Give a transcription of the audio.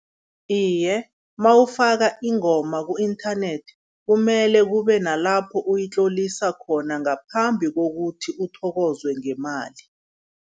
Iye, nawufaka ingoma ku-inthanethi kumele kube nalapho uyitlolisa khona ngaphambi kokuthi uthokozwe ngemali.